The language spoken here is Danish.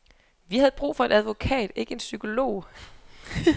Vi havde brug for en advokat, ikke en psykolog.